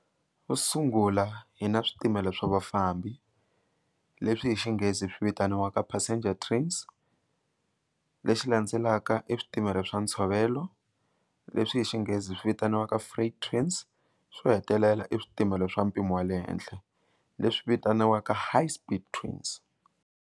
Xo sungula hi na switimela swa vafambi leswi hi xinghezi swi vitaniwaka passenger trains lexi landzelaka i switimela swa ntshovelo leswi hi xinghezi swi vitaniwaka free trains swo hetelela i swipimelo swa mpimo wa le henhla leswi vitaniwaka high speed trains.